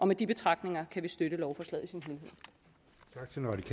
med de betragtninger kan vi støtte lovforslaget